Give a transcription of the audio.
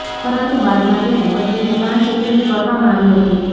પરંતુ બાદમાં તેને બદલીને પાંચ એપ્રિલ કરવામાં આવી હતી